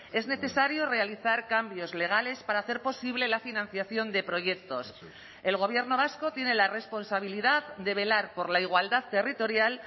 es necesario realizar cambios legales para hacer posible la financiación de proyectos el gobierno vasco tiene la responsabilidad de velar por la igualdad territorial